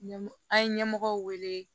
Ɲɛ an ye ɲɛmɔgɔ wele